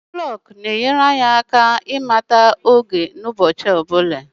elekere na-enyere anyị aka ịmata oge n'oge ọ bụla n'ụbọchị